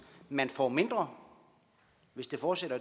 man får mindre hvis det fortsætter